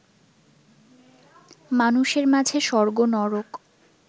মানুষের মাঝে স্বর্গ নরক